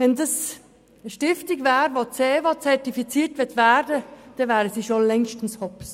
Möchte diese Stiftung ZEWO-zertifiziert werden, wäre sie längst bankrott.